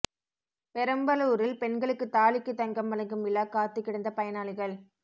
பெரம்பலூரில் பெண்களுக்கு தாலிக்கு தங்கம் வழங்கும் விழா காத்து கிடந்த பயனாளிகள்